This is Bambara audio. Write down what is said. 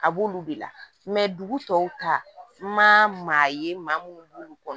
A b'olu de la dugu tɔw ta n ma ye maa minnu b'olu kɔnɔ